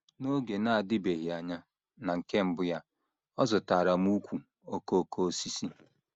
N’oge na - adịbeghị anya, na nke mbụ ya, ọ zụtaara m ùkwù okooko osisi